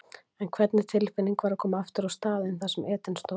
En hvernig tilfinning var að koma aftur á staðinn þar sem Eden stóð?